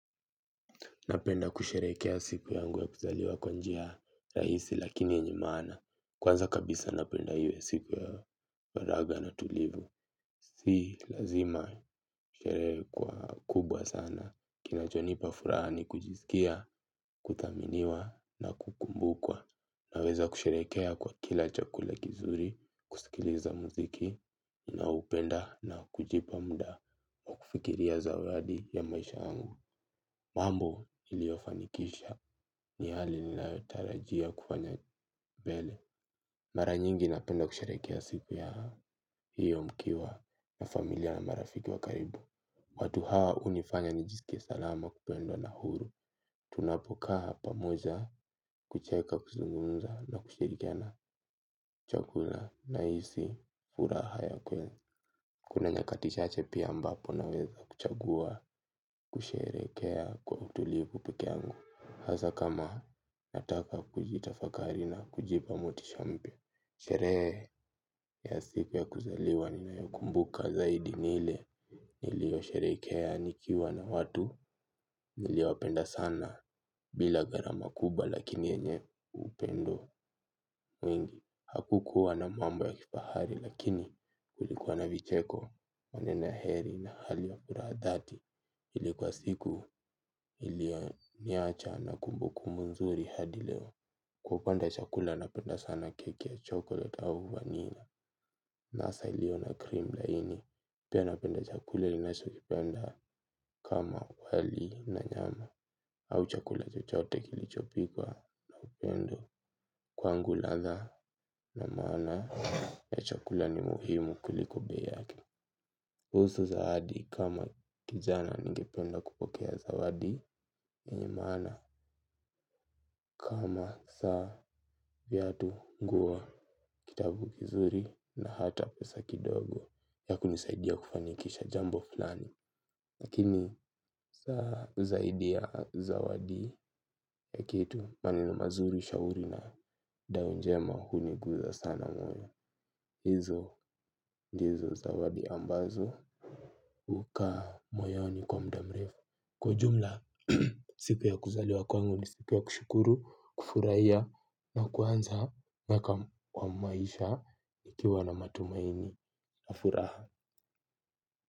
Napenda kusherehekea siku yangu ya kuzaliwa kwa njia rahisi lakini yenye maana. Kwanza kabisa napenda iwe siku ya waraga na tulivu. Si lazima sherehe kuwa kubwa sana. Kinacho nipa furaha ni kujisikia, kuthaminiwa na kukumbukwa. Naweza kusherehekea kwa kila chakula kizuri, kusikiliza muziki, na hupenda na kujipa muda. Kufikiria zawadi ya maisha yangu. Mambo niliyofanikisha ni hali ninayo tarajia kufanya mbele. Mara nyingi napenda kusherehekea siku ya hiyo mkiwa na familia na marafiki wa karibu. Watu hawa hunifanya nijisikie salama kupendwa na huru. Tunapokaa pamoja kucheka kuzungunza na kushirikiana chakula nahisi furaha ya kweli. Kuna nyakati chache pia ambapo naweza kuchagua kusherehekea kwa utulivu peke yangu. Hasa kama nataka kujitafakari na kujipa motisha mpya. Sherehe ya siku ya kuzaliwa ninayokumbuka zaidi ni ile nilio sherehekea nikiwa na watu nilio wapenda sana bila gharama kubwa lakini yenye upendo mwingi. Hakukuwa na mambo ya kifahari lakini kulikuwa na vicheko maneno ya heri na hali wa furaha dhati. Ili kwa siku iliyoniacha na kumbukumbu nzuri hadi leo. Kwa upande wa chakula napenda sana keki ya chocolate au vanilla. Na hasa ilio na cream laini. Pia napenda chakula ninacho kipenda kama wali na nyama. Au chakula chochote kilichopikwa na upendo kwangu ladha na maana ya chakula ni muhimu kuliko bei yake kuhusu zawadi kama kijana ningependa kupokea zawadi yenye maana kama saa viatu nguo kitabu kizuri na hata pesa kidogo. Ya kunisaidia kufanikisha jambo flani lakini saa zaidi ya zawadi ya kitu maneno mazuri, shauri na dao njema huniguza sana moyo hizo ndizo zawadi ambazo hukaa moyoni kwa muda mrefu. Kwa ujumla, siku ya kuzaliwa kwangu ni siku ya kushukuru kufurahia na kuanza na kama wa maisha ikiwa na matumaini na furaha.